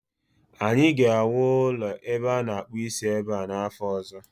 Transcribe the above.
anyị ga-ewu ụlọ ebe a na akpụ isi ebe a n'afọ ọzọ